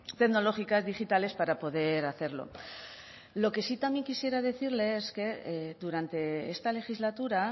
tecnológicas digitales para poder hacerlo lo que sí también quisiera decirle es que durante esta legislatura